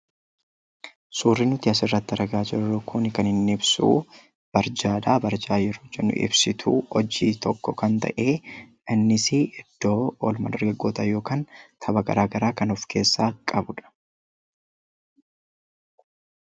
Suurri nuti asirratti argaa kun kan inni ibsu barjaa dha. Barjaa yeroo jennu ibsituu hojii tokko kan ta'e innisii iddoo oolmaa dargaggootaa yookaan tapha garaagaraa kan of keessaa qabu dha.